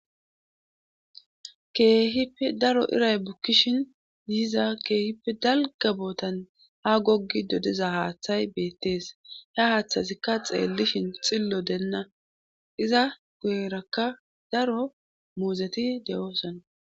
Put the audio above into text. keehipe daro iray bukkishin yiza keehip dalga bootan ha goggi dodeza haaththay beettees ya haaththazikka xeellishin xillo deenna iza guyrakka daro muuzeti de7oosana